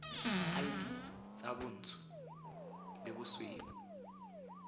id tsa bontsho le bosweu